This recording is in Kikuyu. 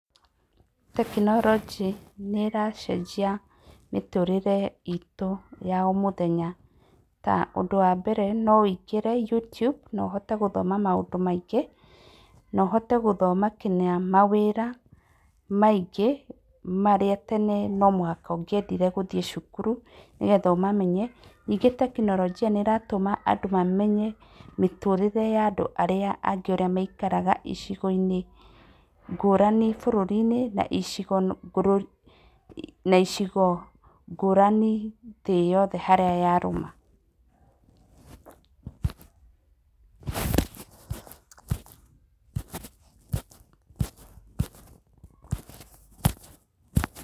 Tekinoronjĩ nĩracenjia mĩtũrĩre itũ ya o mũthenya ta ũndũ wa mbere no wũingĩre Youtube na ũhote gũthoma maũndũ maingĩ, na ũhote gũthoma mawĩra maingĩ marĩa tene no mũhaka ũngĩendire gũthiĩ cukuru nĩgetha ũmamenye ningĩ tekinoronjia nĩratũma andũ mamenye mĩtũrĩre ya andũ ũrĩa maikaraga icigo-inĩ ngũrani bũrũri-inĩ, na icigo icigo ngũrani thĩ yothe harĩa yarũma.